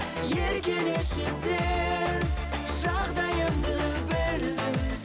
еркелеші сен жағдайымды білдің